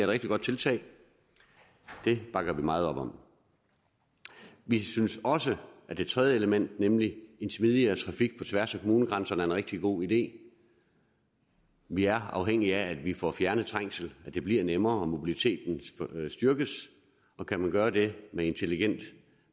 rigtig godt tiltag det bakker vi meget op om vi synes også at det tredje element nemlig en smidigere trafik på tværs af kommunegrænserne er en rigtig god idé vi er afhængige af at vi får fjernet trængsel at det bliver nemmere og at mobiliteten styrkes og kan man gøre det med intelligent